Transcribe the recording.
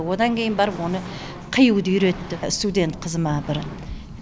одан кейін барып оны қиюды үйретті студент қызыма бір